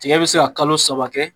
tigɛ bi se ka kalo saba kɛ